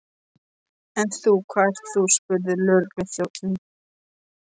En þú, hvað ert þú? spurði lögregluþjónninn.